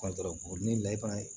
ni layita